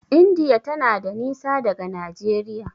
indiya tana da nisa daga Nageria